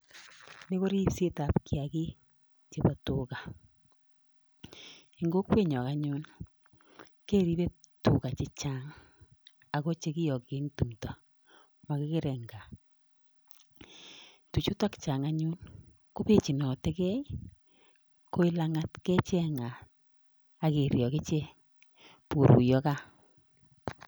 Ni koribsetab kiyagik chebo tuga en kokwenyon anyun keribe tuga chechang ago che kiyoki en tumdo mogikere en gaa tuchuto chang anyun kobechinote ge koit lang'at kecheng'at ak ichek bokoruiyo gaa.